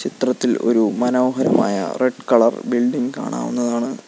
ചിത്രത്തിൽ ഒരു മനോഹരമായ റെഡ് കളർ ബിൽഡിംഗ് കാണാവുന്നതാണ്.